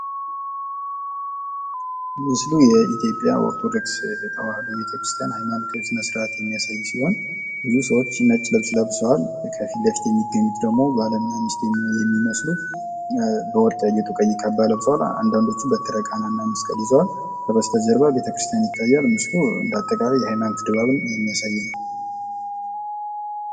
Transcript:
ምስሉ የኢትዮጵያ ኦርቶዶክስ ተዋህዶ ቤተክርስቲያን ሃይማኖታዊ ስነስርዓት የሚያሳይ ሲሆን፤ ብዙ ሰዎች ነጭ ልብስ ለብሰዋል ከፊትለፊት የሚገኙት ደግሞ ባልና ሚስት የሚመስሉ በወርቅ ያጌጠ ቀይ ካባ ለብሰዋል፤ አንዳንዶቹም በትረ ቃና እና መስቀል ይዘዋል። ከበስተጀርባ በቤተክርስቲያን የሚታይ ሲሆን ፤ እንዳጠቃላይ ምስሉ የሃይማኖት ድባብን የሚያሳይ ነው።